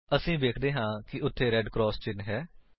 ਅਸੀ ਵੇਖਦੇ ਹਾਂ ਕਿ ਉੱਥੇ ਰੇਡ ਕਰਾਸ ਚਿੰਨ੍ਹ ਹੈ